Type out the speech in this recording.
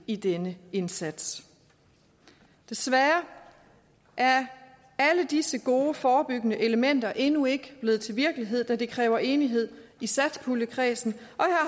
i denne indsats desværre er alle disse gode forebyggende elementer endnu ikke blevet til virkelighed da det kræver enighed i satspuljekredsen